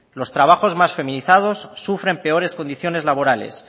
los trabajos más feminizados sufren peores condiciones laborales